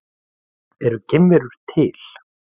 Eru geimverur til?